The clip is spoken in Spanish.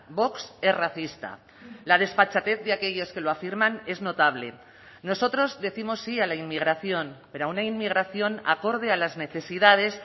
vox es racista la desfachatez de aquellos que lo afirman es notable nosotros décimos sí a la inmigración pero a una inmigración acorde a las necesidades